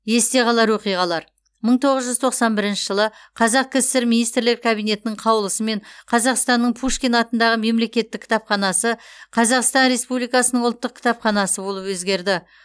есте қалар оқиғалар мың тоғыз жүз тоқсан бірінші жылы қазақ кср министрлер кабинетінің қаулысымен қазақстанның пушкин атындағы мемлекеттік кітапханасы қазақстан республикасының ұлттық кітапханасы болып өзгерді